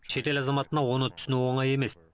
шетел азаматына оны түсіну оңай емес